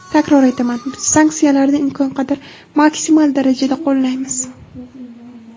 Takror aytaman, biz sanksiyalarni imkon qadar maksimal darajada qo‘llaymiz.